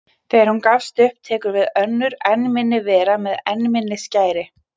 Þegar hún gefst upp tekur við önnur enn minni vera með enn minni skæri.